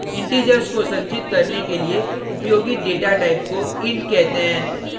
integers को संचित करने के लिए उपयोगित data type को int कहते हैं